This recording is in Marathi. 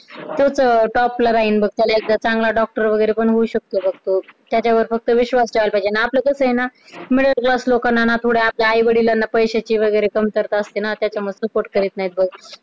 तोच अं top ला राहील बघ तर एकदा चांगला doctor वगैरे पण होऊ शकतो बघ तो त्याच्यावर फक्त विश्वास ठेवायला पाहिजे, आणि आपलं कसं आहे ना middle class लोकांना आहे ना थोड्या आपल्या आईवडिलांना पैशाची वगैरे कमतरता असते ना त्याच्यामुडे support करीत नाहीत बघ